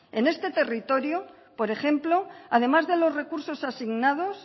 en este territorio por ejemplo además de los recursos asignados